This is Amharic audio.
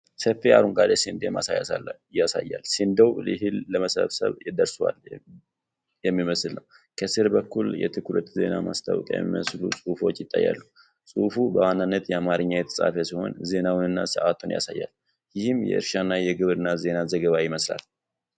ሰፊ የአረንጓዴ ስንዴ ማሳ ያሳያል። የስንዴው ዕህል ለመሰብሰብ ደርሷል የሚመስል ነው። ከሥር በኩል የትኩረት ዜና ማስታወቂያ የሚመስሉ ጽሑፎች ይታያሉ። ጽሑፉ በዋናነት በአማርኛ የተጻፈ ሲሆን ዜናውንና ሰዓቱን ያሳያል። ይህም የእርሻና የግብርና ዜና ዘገባ ይመስላል።